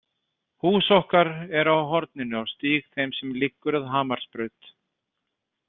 Hús okkar er á horninu á stíg þeim sem liggur að Hamarsbraut.